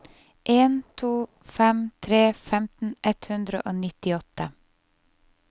en to fem tre femten ett hundre og nittiåtte